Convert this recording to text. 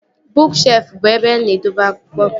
Bụụk shelfụ bụ ebe a na-edebe akwụkwọ